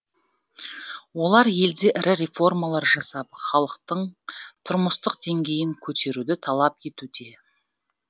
олар елде ірі реформалар жасап халықтың тұрмыстық деңгейін көтеруді талап етуде